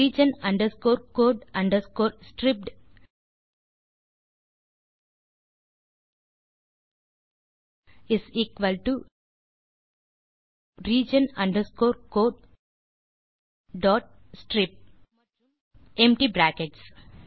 region underscore code underscore stripped is equal to region underscore code dot strip மற்றும் empty brackets